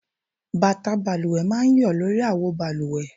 Bàtà balùwẹ̀ máa ń yọ lórí àwo balùwẹ̀